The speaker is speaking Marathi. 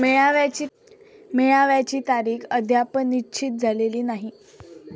मेळाव्याची तारीख अद्याप निश्चित झालेली नाही.